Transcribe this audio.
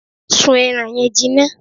Sún ẹran yẹn jinná!